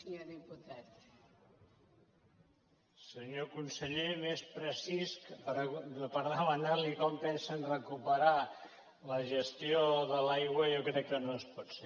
senyor conseller més precís que demanarli com pensen recuperar la gestió de l’aigua jo crec que no es pot ser